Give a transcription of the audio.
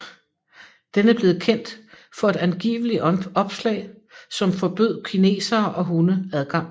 Den er blevet kendt for et angivelig opslag som forbød kinesere og hunde adgang